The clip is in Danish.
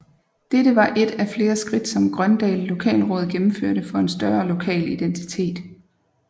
Dette var et af flere skridt som Grøndal Lokalråd gennemførte for en større lokal identitet